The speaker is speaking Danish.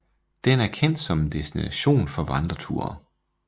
Den er kendt som en destination for vandreture